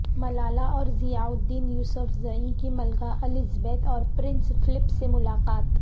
ملالہ اور ضیالدین یوسفزئی کی ملکہ الزبیتھ اور پرنس فلپ سے ملاقات